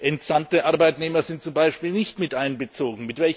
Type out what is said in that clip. Entsandte Arbeitnehmer sind zum Beispiel nicht miteinbezogen.